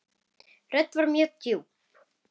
Röddin var mjög djúp.